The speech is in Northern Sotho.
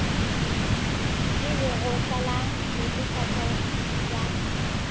le lekgotla la netefatšo ya